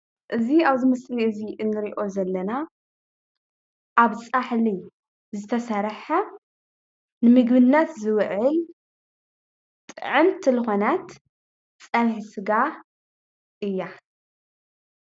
እዚ ኣብዚ ምስሊ እዚ እንሪኦ ዘለና ኣብ ፃሕሊ ዝተሰርሐ ንምግብነት ዝውዕል ጥዕምቲ ልኾነት ፀብሒ ስጋ እያ፡፡